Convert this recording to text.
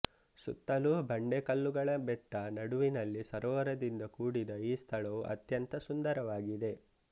ಸುತ್ತಲೂ ಬಂಡೆಕಲ್ಲುಗಳ ಬೆಟ್ಟ ನಡುವಿನಲ್ಲಿ ಸರೋವರದಿಂದ ಕೂಡಿದ ಈ ಸ್ಥಳವು ಅತ್ಯಂತ ಸುಂದರವಾಗಿದೆ